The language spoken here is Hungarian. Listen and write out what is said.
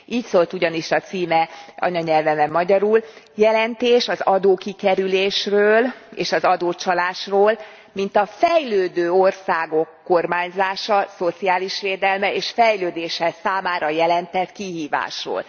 Így szólt ugyanis a címe anyanyelvemen magyarul Jelentés az adókikerülésről és az adócsalásról mint a fejlődő országok kormányzása, szociális védelme és fejlődése számára jelentett kihívásról.